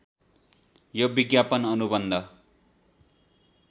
यो विज्ञापन अनुबन्ध